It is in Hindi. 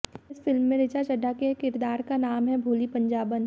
इस फिल्म में ऋचा चड्ढा के किरदार का नाम है भोली पंजाबन